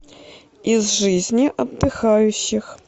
из жизни отдыхающих